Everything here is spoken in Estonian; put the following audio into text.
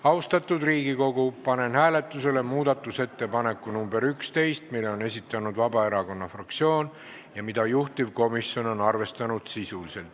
Austatud Riigikogu, panen hääletusele muudatusettepaneku nr 11, mille on esitanud Vabaerakonna fraktsioon ja mida juhtivkomisjon on arvestanud sisuliselt.